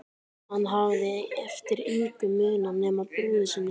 Hann hafði eftir engu munað nema brúði sinni.